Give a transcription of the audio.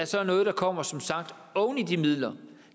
sagt noget der kommer oven i de midler